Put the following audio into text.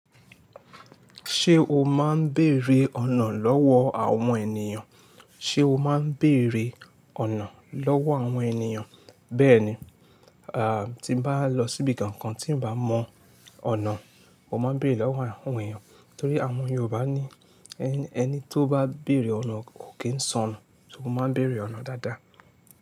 Ṣé o máa ń bèrè ọ̀nà lọ́wọ́ àwọn ènìyàn? Ṣé o máa ń bèrè ọ̀nà lọ́wọ́ àwọn ènìyàn? Bẹ́ẹ̀ni, a, tí mo bá lọ síbi kankan tí ń bá mọ ọ̀nà, mo máa ń bèrè lọ́wọ́ àwọn ènìyàn. Nítorí àwọn Yorùbá ní ẹni tó bá bèrè ọ̀nà ò kí ń sọnù, só mo máa ń bèrè ọ̀nà dáadáa.